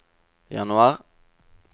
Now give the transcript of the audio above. januar